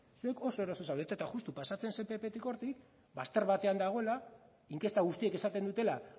zuek oso eroso zaudete eta juxtu pasatzen zen pptik hortik bazter batean dagoela inkesta guztiek esaten dutela